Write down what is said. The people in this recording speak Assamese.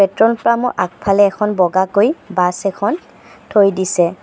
পেট্ৰল পাম্পৰ আগফালে এখন বগাকৈ বাছ এখন থৈ দিছে।